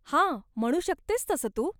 हा, म्हणू शकतेस तसं तू.